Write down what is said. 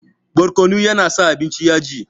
Barkono ya na sa abinci yaji